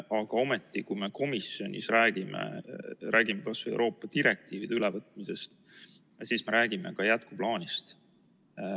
Aga ometi, kui me komisjonis räägime, räägime kas või Euroopa direktiivide ülevõtmisest, siis me räägime ka jätkuplaanist.